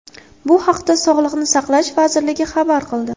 Bu haqda Sog‘lini saqlash vazirligi xabar qildi .